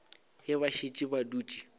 ge ba šetše ba dutše